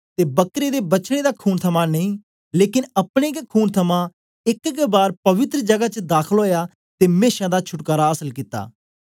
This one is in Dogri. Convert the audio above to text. ते बकरें ते बछड़ें दा खून थमां नेई लेकन अपने गै खून थमां एक गै बार पवित्र जगा च दाखल ओया ते मेशा दा छुटकारा आसल कित्ता